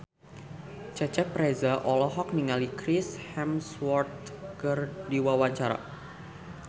Cecep Reza olohok ningali Chris Hemsworth keur diwawancara